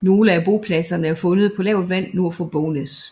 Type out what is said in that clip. Nogle af bopladserne er fundet på lavt vand nord for Bognæs